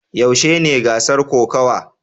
Yaushe ne gasar kokawa?